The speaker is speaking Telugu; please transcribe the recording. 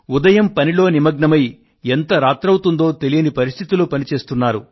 ఉదయం పనిలో నిమగ్నమై ఎంత రాత్రి అవుతుందో తెలియని పరిస్థితిలో పని చేస్తున్నారు